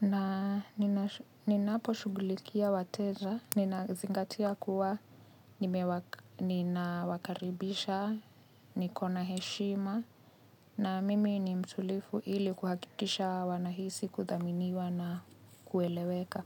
Na ninaposhughulikia wateja, ninazingatia kuwa ninawakaribisha, niko na heshima na mimi ni mtulifu ili kuhakikisha wanahisi kuthaminiwa na kueleweka.